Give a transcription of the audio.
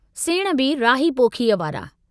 सेण बि राहीअ पोखीअ वारा।